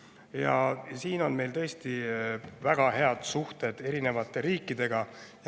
Ja siin on meil tõesti väga head suhted eri riikidega.